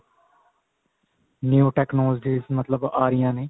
new technology ਮਤਲਬ ਆ ਰਹੀਆਂ ਨੇ